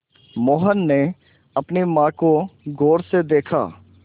मोहन ने अपनी माँ को गौर से देखा